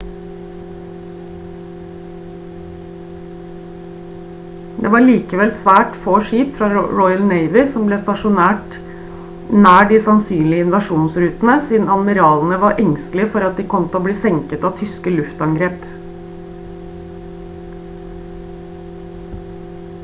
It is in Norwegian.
det var likevel svært få skip fra royal navy som ble stasjonert nær de sannsynlige invasjonsrutene siden admiralene var engstelige for at de kom til å bli senket av tyske luftangrep